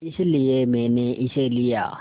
इसलिए मैंने इसे लिया